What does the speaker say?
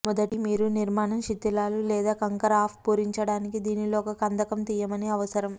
మొదటి మీరు నిర్మాణం శిధిలాలు లేదా కంకర అప్ పూరించడానికి దీనిలో ఒక కందకం తీయమని అవసరం